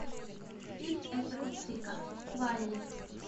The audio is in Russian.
фильм эдварда цвига валл и